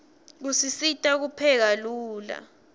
usisita kupheka lula